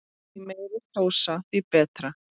Því meiri sósa því betra.